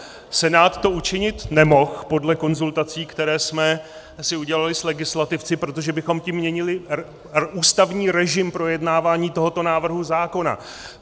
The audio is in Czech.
Senát to učinit nemohl podle konzultací, které jsme si udělali s legislativci, protože bychom tím měnili ústavní režim projednávání tohoto návrhu zákona.